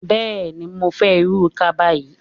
Bẹẹni, mó fẹ́ irú kaba yín.